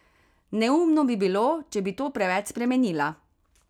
Neumno bi bilo, če bi to preveč spremenila.